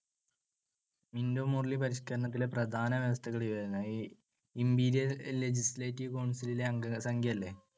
Minto Morley പരിഷ്‌ക്കരണത്തിലെ പ്രധാന വ്യവസ്ഥകൾ ഇവയായിരുന്നു. Imperial legislative council ലെ അംഗസംഖ്യ ഇല്ലേ അത്